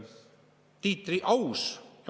Aus!